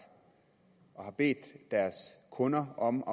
og har bedt deres kunder om